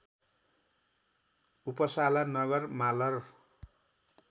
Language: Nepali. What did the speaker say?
उपसाला नगर मालर